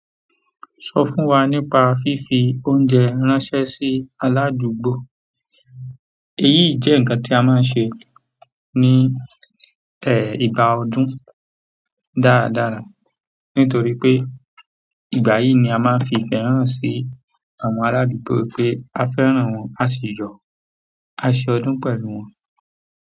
Sọ fún wa nípa fífi oúnjẹ ránṣẹ́ sí aládùúgbò. Èyí jẹ́ ǹkan tí a máa ń ṣe ní ẹ, ìgbà ọdún dáradára. Nítorí pé ìgbà yìí ni a máa ń fi ìfẹ́ hàn sí àwọn aládùúgbò pé a fẹ́ràn wọn, a sì yọ aṣe ọdún pẹ̀lú wọn.